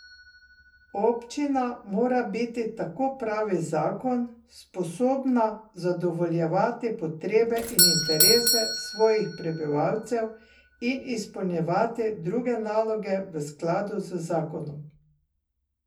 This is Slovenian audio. Občina mora biti, tako pravi zakon, sposobna zadovoljevati potrebe in interese svojih prebivalcev in izpolnjevati druge naloge v skladu z zakonom.